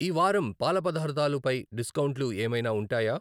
ఈవారం పాల పదార్ధాలు పై డిస్కౌంట్లు ఏమైనా ఉంటాయా?